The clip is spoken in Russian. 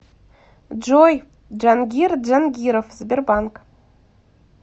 джой джангир джангиров сбербанк